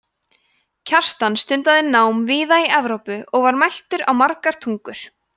kjartan stundaði nám víða í evrópu og var mæltur á margar tungur